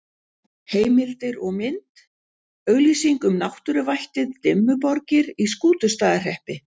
Heimildir og mynd: Auglýsing um náttúruvættið Dimmuborgir í Skútustaðahreppi.